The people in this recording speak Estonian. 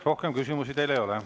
Rohkem küsimusi teile ei ole.